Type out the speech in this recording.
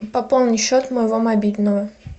пополни счет моего мобильного